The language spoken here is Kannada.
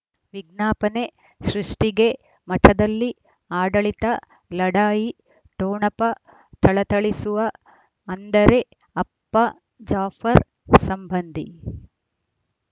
ವಿಜ್ಞಾಪನೆ ಸೃಷ್ಟಿಗೆ ಮಠದಲ್ಲಿ ಆಡಳಿತ ಲಢಾಯಿ ಠೊಣಪ ಥಳಥಳಿಸುವ ಅಂದರೆ ಅಪ್ಪ ಜಾಫರ್ ಸಂಬಂಧಿ